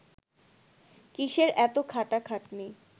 কিসের এত খাটাখাটনি